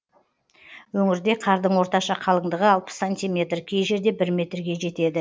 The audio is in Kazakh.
өңірде қардың орташа қалыңдығы алпыс сантиметр кей жерде бір метрге жетеді